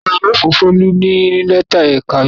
Akọ̀wé yóò fún Folú ní lẹ́tà ẹ̀ka-ìmọ̀.